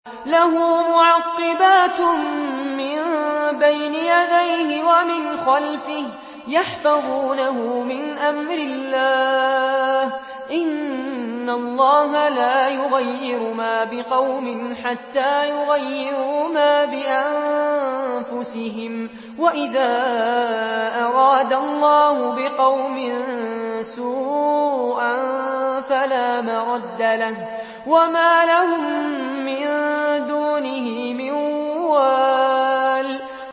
لَهُ مُعَقِّبَاتٌ مِّن بَيْنِ يَدَيْهِ وَمِنْ خَلْفِهِ يَحْفَظُونَهُ مِنْ أَمْرِ اللَّهِ ۗ إِنَّ اللَّهَ لَا يُغَيِّرُ مَا بِقَوْمٍ حَتَّىٰ يُغَيِّرُوا مَا بِأَنفُسِهِمْ ۗ وَإِذَا أَرَادَ اللَّهُ بِقَوْمٍ سُوءًا فَلَا مَرَدَّ لَهُ ۚ وَمَا لَهُم مِّن دُونِهِ مِن وَالٍ